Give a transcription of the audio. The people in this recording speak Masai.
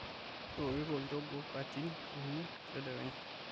keworito olnjogoo katin uni tadekenya